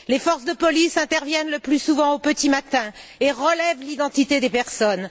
Les forces de police interviennent le plus souvent au petit matin et relèvent l'identité des personnes.